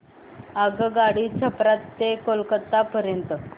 आगगाडी छपरा ते कोलकता पर्यंत